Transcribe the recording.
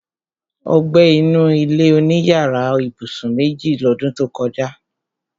Ó gbé inú ilé-oníyàrá ibùsùn méjì lọ́dún tó kọjá